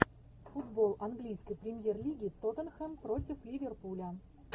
футбол английской премьер лиги тоттенхэм против ливерпуля